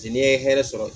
N'i ye hɛrɛ sɔrɔ